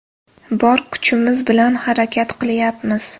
Bor kuchimiz bilan harakat qilyapmiz.